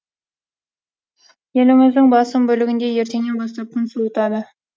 еліміздің басым бөлігінде ертеңнен бастап күн суытады